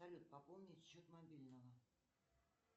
салют пополнить счет мобильного